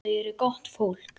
Þau eru gott fólk.